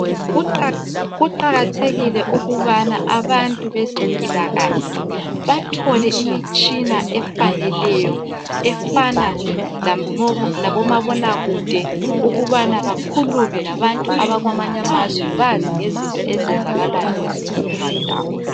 Kuqakathekile ukubana abantu bezempilakahle bathole imitshina efaneleyo efana labomabonakude ukubana bakhulume labantu abakwamanye amazwe ukuze bazi ngezinto ezenzakala kwezinye indawo.